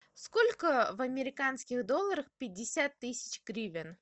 сколько в американских долларах пятьдесят тысяч гривен